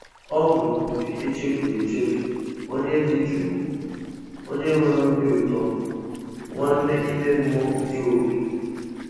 Ọ bụ mpi echefuru echefu, onye dị jụụ, onye nwere obi ụtọ, nwanne ime mmụọ nke opi."